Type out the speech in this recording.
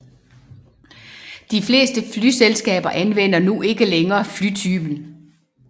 De fleste flyselskaber anvender nu ikke længere flytypen